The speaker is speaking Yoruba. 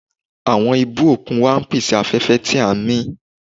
Àwọn ibú òkun wa ń pèsè afẹ́fẹ́ tí à ń mí.